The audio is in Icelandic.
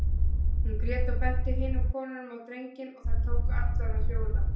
Hún grét og benti hinum konunum á drenginn og þær tóku allar að hljóða.